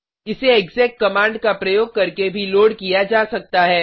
इसे exec command का प्रयोग करके भी लोड किया जा सकता है